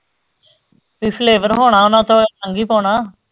ਕੋਈ flavor ਹੁਣਾ ਉਹਨਾਂ ਚੋਂ